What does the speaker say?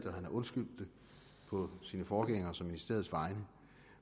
og han har undskyldt det på sin forgængers og ministeriets vegne